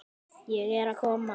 Ég er að koma.